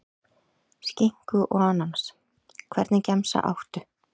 Skinku og ananas Hvernig gemsa áttu?